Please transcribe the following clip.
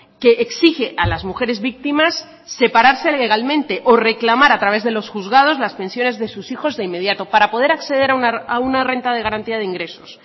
que exige a las mujeres víctimas separarse legalmente o reclamar a través de los juzgados las pensiones de sus hijos de inmediato para poder acceder a una renta de garantía de ingresos